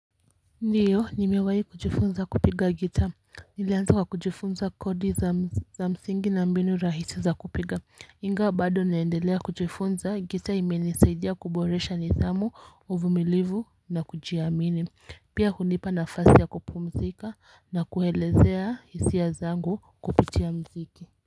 Ndiyo, nimewahi kujifunza kupiga gita, nilianza kwa kujifunza kodi za mziki za msingi na mbinu rahisi za kupiga, ingawa bado naendelea kujifunza, gita imenisaidia kuboresha nidhamu, uvumilivu na kujiamini, pia hunipa nafasi ya kupumzika na kuelezea hisiha zangu kuputia mziki.